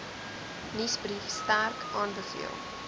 nuusbrief sterk aanbeveel